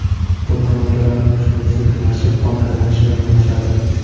Bunda moddalar almashuvi sekinlashib, qon aylanishi yomonlashadi.